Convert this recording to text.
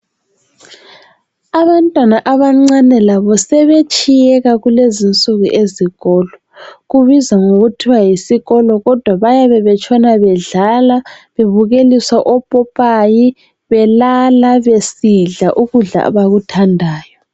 Abantwana abancane labo sebetshiyeka kulezinsuku ezikolo. Kubizwa kuthiwa yisikolo kodwa bayabe betshona bedlala, bebukeliswa opopayi, belala, besidla ukudla abakuthandayo.